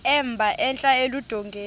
emba entla eludongeni